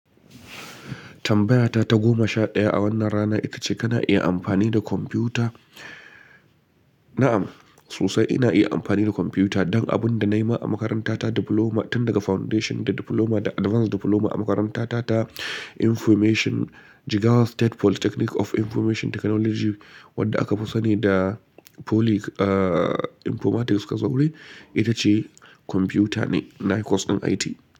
Tambayata ta goma sha ɗaya a wannan rana ita ce kana iya amfani da kwamfuta? Na'am, sosai ina iya amfani da kwamfuta don abin da na yi ma a makarantata Diploma tun daga Foundation da Diploma da Advanced Diploma a makarantata ta Information Jigawa State Polytechnic of Information Technology wadda aka fi sani da Poly Ahh! Informatics ka zaure ita ce kwamfuta ne. Nayi course ɗin IT.